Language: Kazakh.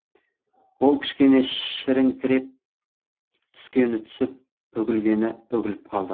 ол кішкене шіріңкіреп түскені түсіп үгілгені үгіліп қалды